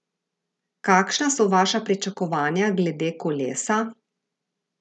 Kakšna so vaša pričakovanja glede kolesa?